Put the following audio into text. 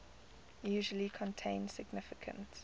usually contain significant